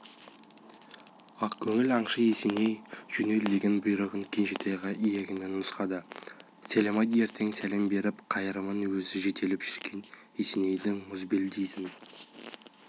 ақ көңіл аңшы есеней жөнел деген бұйрығын кенжетайға иегімен нұсқады сәлем айт ертең сәлем беріп қайтармын өзі жетелеп жүрген есенейдің мұзбел дейтін